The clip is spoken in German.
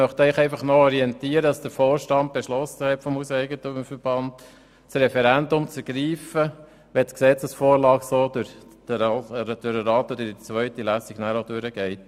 Ich möchte Sie noch orientieren, dass der Vorstand des HEV beschlossen hat, das Referendum zu ergreifen, wenn die Gesetzesvorlage auch in der zweiten Lesung so durch den Grossen Rat geht.